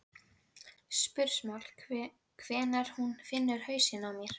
spursmál hvenær hún finnur hausinn á mér.